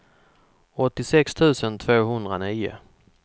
åttiosex tusen tvåhundranio